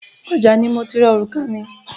Ọjà ni mo ti ra orùka mi.